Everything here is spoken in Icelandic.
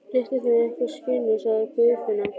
Réttu þeim eitthvað, skinnunum, sagði Guðfinna.